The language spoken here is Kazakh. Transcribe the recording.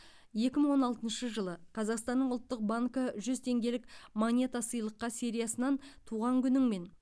екі мың он алтыншы жылы қазақстанның ұлттық банкі жүз теңгелік монета сыйлыққа сериясынан туған күніңмен